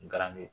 N gar